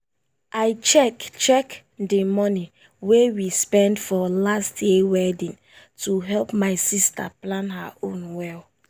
i check check the money wey we spend for last year wedding to help my sister plan her own well.